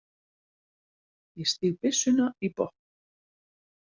Ég stíg byssuna í botn.